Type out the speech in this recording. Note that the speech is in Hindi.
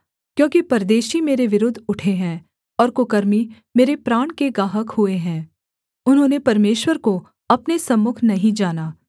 क्योंकि परदेशी मेरे विरुद्ध उठे हैं और कुकर्मी मेरे प्राण के गाहक हुए हैं उन्होंने परमेश्वर को अपने सम्मुख नहीं जाना सेला